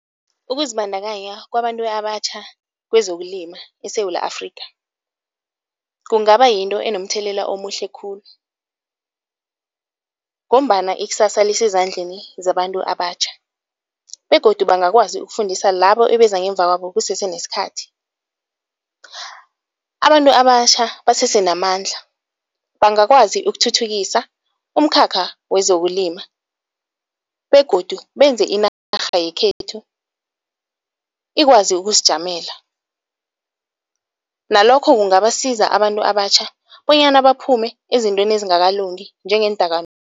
Ukuzibandakanya kwabantu abatjha kwezokulima eSewula Afrikha kungaba yinto enomthelela omuhle khulu ngombana ikusasa lisezandleni zabantu abatjha begodu bangakwazi ukufundisa labo ebeza ngemva kwabo kusese nesikhathi. Abantu abatjha basese namandla, bangakwazi ukuthuthukisa umkhakha wezokulima begodu benze inarha yekhethu ikwazi ukuzijamela, nalokho kungabasiza abantu abatjha bonyana baphume ezintweni ezingakalungi njengeendakamizwa